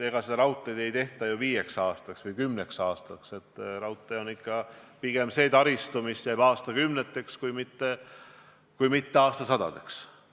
Seda raudteed ei tehta ju viieks või kümneks aastaks, raudtee on ikka pigem selline taristu, mis jääb püsima aastakümneteks kui mitte aastasadadeks.